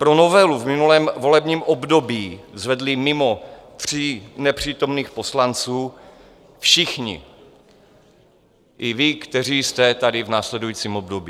Pro novelu v minulém volebním období zvedli mimo tří nepřítomných poslanců všichni, i vy, kteří jste tady v následujícím období.